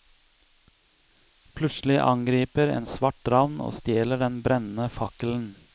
Plutselig angriper en svart ravn og stjeler den brennende fakkelen.